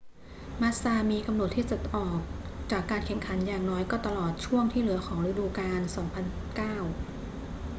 มาสซามีกำหนดที่จะต้องออกจากการแข่งขันอย่างน้อยก็ตลอดช่วงที่เหลือของฤดูกาล 2009